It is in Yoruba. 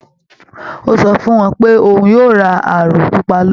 Ó sọ fún wọn pé òun yóò ra aró pupa bọ̀